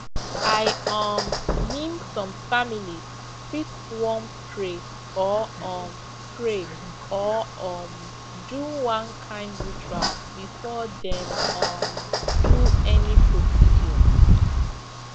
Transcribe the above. i um mean some families fit wan pray or um pray or um do one kind ritual before dem um do any procedure